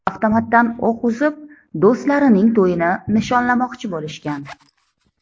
Avtomatdan o‘q uzib, do‘stlarining to‘yini nishonlamoqchi bo‘lishgan.